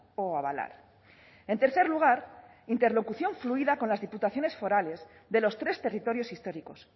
o abalar en tercer lugar interlocución fluida con las diputaciones forales de los tres territorios históricos